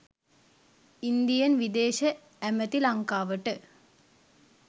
Indian විදේශ ඇමති ලංකාවට